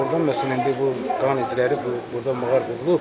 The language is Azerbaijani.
Oradan məsələn indi bu qan izləri bu burda maqar qoyulub.